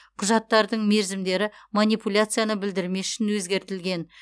құжаттардың мерзімдері манипуляцияны білдірмес үшін өзгертілген